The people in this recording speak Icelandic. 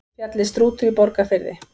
Fjallið Strútur í Borgarfirði.